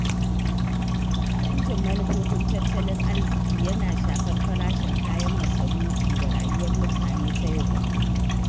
Canjin manufofin tattalin arziƙi yana shafar farashin kayan masarufi da rayuwar mutane ta yau da kullum.